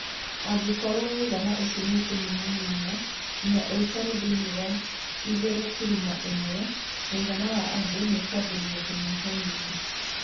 Angĩkorũo mũigana ũcio nĩ ũkũnyihanyiha nginya ũikare thĩiniĩ wa 2.1, mũigana wa andũ nĩ ũkũambĩrĩria kũnyihanyiha.